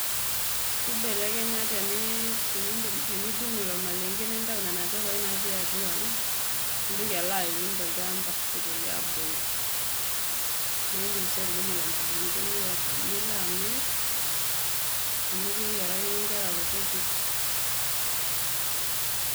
Keibelekenya tenidung ilo malenke nintayu nena pepai naatii atua nitoki aloaun tolchamba peitoki aabulu naa indiim siii atudumu ilo malenke nilo amir amu keyiarakini inkera kutitik.